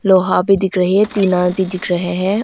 लोहा भी दिख रहे हैं टीना भी दिख रहे हैं।